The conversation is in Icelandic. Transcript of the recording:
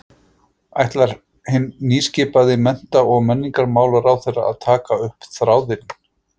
Ætlar hinn nýskipaði mennta- og menningarmálaráðherra að taka upp þráðinn?